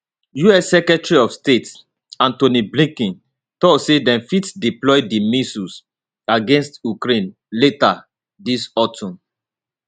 us secretary of state anthony blinken tok say dem fit deploy di missiles against ukraine later dis autumn